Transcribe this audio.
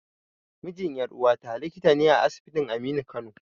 Mijin ƴar'uwata likita ne a asibitin Aminu Kano.